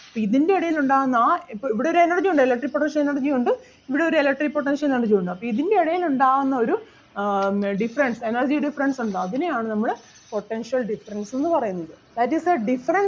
അപ്പൊ ഇതിൻ്റെ ഇടയിൽ ഉണ്ടാകുന്ന ആ ഇവിടെ ഒരു energy ഉണ്ടല്ലോ electric potential energy യും ഉണ്ട് ഇവിടെ ഒരു electric potential energy യും ഉണ്ട് അപ്പൊ ഇതിൻ്റെ ഇടയിൽ ഉണ്ടാകുന്ന ഒരു ആഹ് difference energy difference ഉണ്ടാകും അതിനെ ആണ് നമ്മള് potential difference എന്ന് പറയുന്നത്. That is a difference